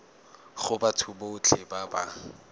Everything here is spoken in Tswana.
go batho botlhe ba ba